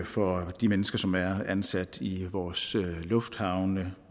for de mennesker som er ansat i vores lufthavne